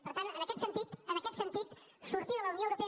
per tant en aquest sentit en aquest sentit sortir de la unió europea